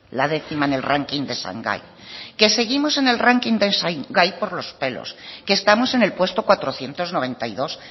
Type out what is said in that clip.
la décima en el ranking de shanghái que seguimos en el ranking de shanghái por los pelos que estamos en el puesto cuatrocientos noventa y dos